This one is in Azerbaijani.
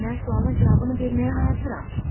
Mən sualın cavabını verməyə hazıram.